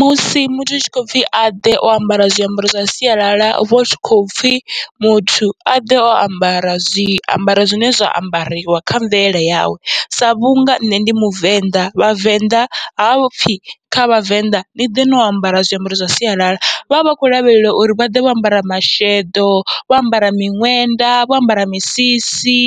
Musi muthu hutshi khou pfhi aḓe o ambara zwiambaro zwa sialala, huvha hutshi kho pfhi muthu aḓe o ambara zwiambaro zwine zwa ambariwa kha mvelele yawe, sa vhunga nṋe ndi muvenḓa vhavenḓa hapfhi kha vhavenḓa niḓe no ambara zwiambaro zwa sialala vhavha vhakho lavhelela uri vhaḓe vho ambara masheḓo, vho ambara miṅwenda, vho ambara misisi